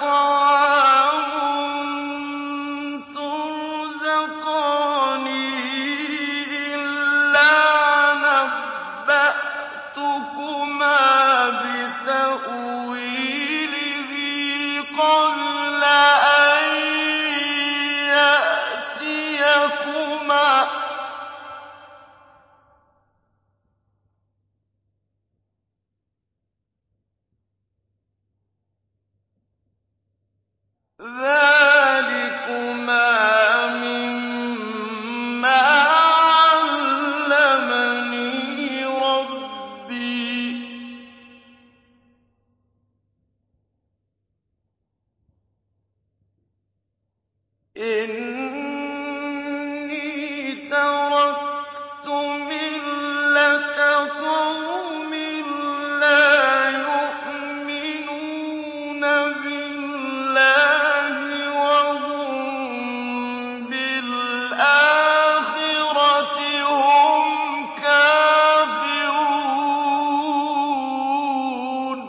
طَعَامٌ تُرْزَقَانِهِ إِلَّا نَبَّأْتُكُمَا بِتَأْوِيلِهِ قَبْلَ أَن يَأْتِيَكُمَا ۚ ذَٰلِكُمَا مِمَّا عَلَّمَنِي رَبِّي ۚ إِنِّي تَرَكْتُ مِلَّةَ قَوْمٍ لَّا يُؤْمِنُونَ بِاللَّهِ وَهُم بِالْآخِرَةِ هُمْ كَافِرُونَ